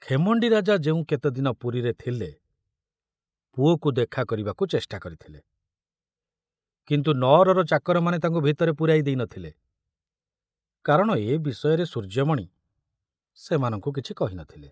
ଖେମଣ୍ଡି ରାଜା ଯେଉଁ କେତେଦିନ ପୁରୀରେ ଥିଲେ ପୁଅକୁ ଦେଖା କରିବାକୁ ଚେଷ୍ଟା କରିଥିଲେ, କିନ୍ତୁ ନଅରର ଚାକରମାନେ ତାଙ୍କୁ ଭିତରେ ପୂରାଇ ଦେଇ ନଥିଲେ, କାରଣ ଏ ବିଷୟରେ ସୂର୍ଯ୍ୟମଣି ସେମାନଙ୍କୁ କିଛି କହି ନ ଥିଲେ।